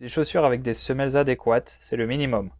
des chaussures avec des semelles adéquates c'est le minimum